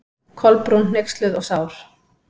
Kolbrún, hneyksluð og sár.